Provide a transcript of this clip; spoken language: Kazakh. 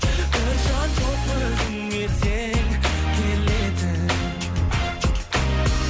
бір жан жоқ өзіңе сен келетін